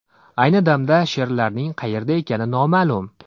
Ayni damda sherlarning qayerda ekani noma’lum.